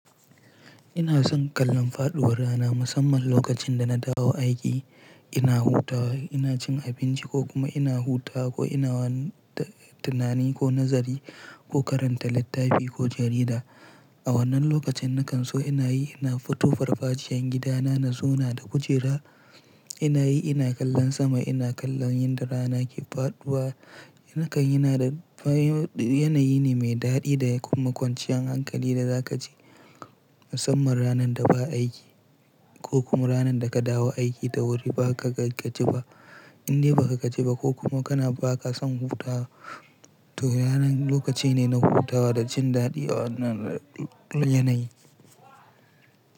Ina son kallon faɗuwar rana musamman lokacin da na dawo aiki, ina hutawa, ina cin abinci ko kuma ina hutawa ko ina wanna tunani ko nazari ko karanta littafi ko jarida. A wannan lokacin na kan so ina yi, ina fito farfaciyar gidana na zauna da kujera, ina yi ina kallon sama, ina kallon yadda rana ke faɗuwa. Nakan na da yanayi ne mai daɗi da kuma kwanciyar hankali da za ka ji musamman ranar da ba aiki ko kuma ranar da ka dawo aiki da wuri ba ka gaji ba. Indai ba ka gaji ba kokuma ko kuma kana ba ka son hutawa, to ranar lokaci ne na hutawa da cin daɗi a wannan yanayi.